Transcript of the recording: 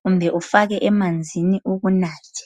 kumbe ufake emanzini ukunathe.